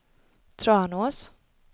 Tranås